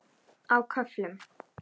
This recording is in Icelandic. Á köflum.